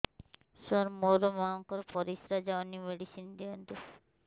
ସାର ମୋର ମାଆଙ୍କର ପରିସ୍ରା ଯାଉନି ମେଡିସିନ ଦିଅନ୍ତୁ